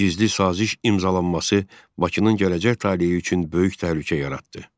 Gizli saziş imzalanması Bakının gələcək taleyi üçün böyük təhlükə yaratdı.